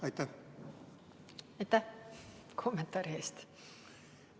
Aitäh kommentaari eest!